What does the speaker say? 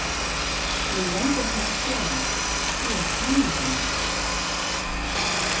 Mig langar til að svara: Þú ert hamingja mín!